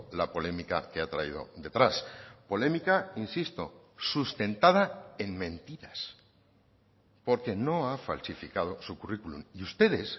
la polémica que ha traído detrás polémica insisto sustentada en mentiras porque no ha falsificado su currículum y ustedes